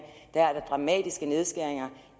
er der dramatiske nedskæringer